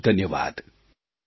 ખૂબખૂબ ધન્યવાદ